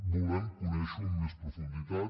volem conèixer ho amb més profunditat